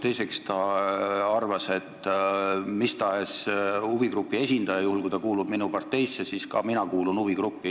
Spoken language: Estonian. Teiseks ta arvas, et kui mis tahes huvigrupi esindaja kuulub minu parteisse, siis ka mina kuulun huvigruppi.